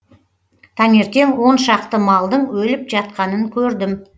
таңертең он шақты малдың өліп жатқанын көрдім